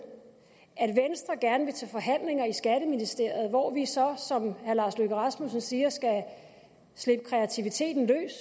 at venstre gerne vil til forhandlinger i skatteministeriet hvor vi så som herre lars løkke rasmussen siger skal slippe kreativiteten løs